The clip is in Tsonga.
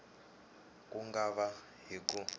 ku nga va hi ku